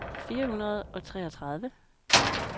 fire hundrede og treogtredive